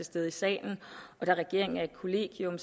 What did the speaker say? stede i salen og da regeringen er et kollegium